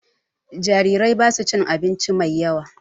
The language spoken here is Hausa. Jarirai basu cin abinci mai yawa